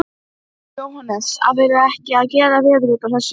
Sígarettureykingar hafa breiðst út eins og faraldur frá síðustu aldamótum.